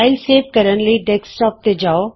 file save ਕਰਨ ਲਈ desktop ਤੇ ਜਾਉ